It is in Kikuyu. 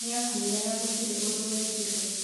Nĩakuire na gutirĩ ũndũ wekirwe